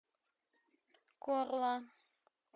корла